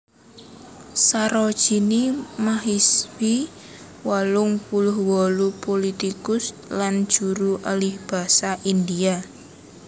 Sarojini Mahishi wolung puluh wolu pulitikus lan juru alihbasa India